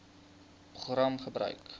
program gebruik